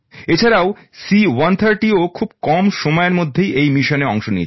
এছাড়াও C130ও খুবই কম সময়ের মধ্যে এই মিশনে অংশ নিয়েছে